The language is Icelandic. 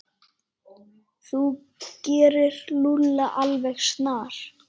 Þú gerir Lúlla alveg snar